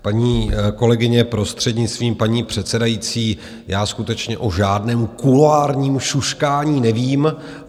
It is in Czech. Paní kolegyně, prostřednictvím paní předsedající, já skutečně o žádném kuloárním šuškání nevím.